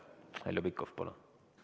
Heljo Pikhof, palun!